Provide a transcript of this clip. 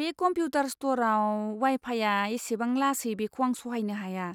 बे कमपिउटार स्ट'रआव वाइ फाइया एसेबां लासै बेखौ आं सहायनो हाया!